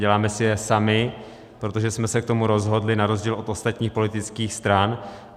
Děláme si je sami, protože jsme se k tomu rozhodli na rozdíl od ostatních politických stran.